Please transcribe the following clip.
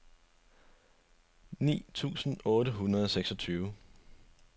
ni tusind otte hundrede og seksogtyve